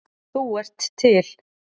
Þú ert til.